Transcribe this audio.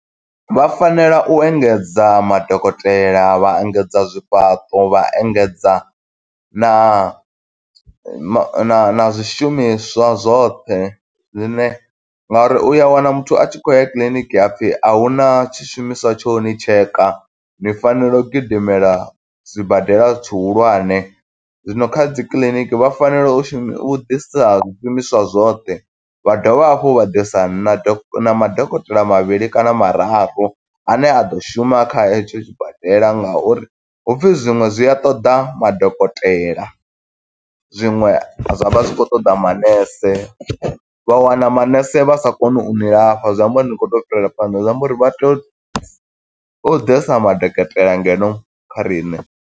Vha fanela u engedza madokotela, vha engedza zwifhaṱo, vha engedza na na na zwishumiswa zwoṱhe zwine, nga uri uya wana muthu a tshi khou ya kiḽiniki ha pfi a huna tshishumiswa tsho uni tsheka, ni fanela u gidimela zwibadela tshihulwane, zwino kha dzikiḽiniki vha fanela u shumi u ḓisa zwishumiswa zwoṱhe vha dovha hafhu vha ḓisa na madokotela mavhili kana mararu, ane a ḓo shuma kha hetsho tshibadela nga uri hupfi zwiṅwe zwi a ṱoḓa madokotela, zwiṅwe zwa vha zwi khou ṱoḓa manese. Vha wana manese vha sa koni u ni lafha, zwi amba uri ni khou tea u fhirela phanḓa, zwi amba uri vha tea u ḓisa madokotela ngeno kha riṋe.